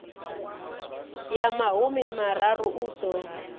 ya mahumi mararu u ḓo